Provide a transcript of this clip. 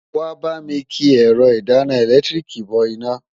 Wàá bá mi ki ẹ̀rọ ìdáná ẹ̀lẹ́tíríìkì bọ iná.